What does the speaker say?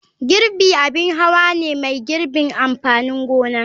Girbi abin hawa ne mai girbin amfanin gona.